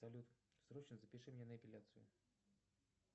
салют срочно запиши меня на эпиляцию